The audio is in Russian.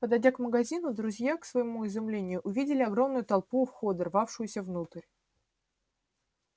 подойдя к магазину друзья к своему изумлению увидели огромную толпу у входа рвавшуюся внутрь